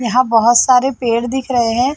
यहाँ बहोत सारे पेड़ दिख रहे हैं।